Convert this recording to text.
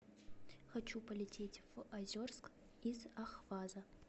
хочу полететь в озерск из ахваза